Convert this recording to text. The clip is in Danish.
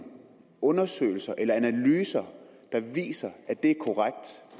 undersøgelser eller analyser der viser at det